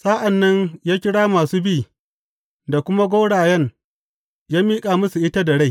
Sa’an nan ya kira masu bi da kuma gwaurayen ya miƙa musu ita da rai.